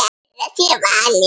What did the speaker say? Þeirra sé valið.